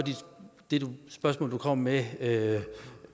det spørgsmål du kom med med